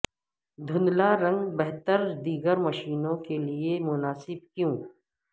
دھندلا رنگ بہتر دیگر مشینوں کے لئے مناسب کیوں